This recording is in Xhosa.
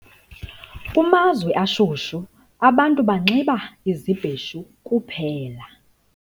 Kumazwe ashushu abantu banxiba izibheshu kuphela